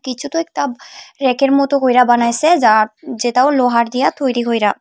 কিছুতো একটা রেকের মতো কইরা বানাইসে যা যেটা ও লোহার দিয়া তৈরি হইরা।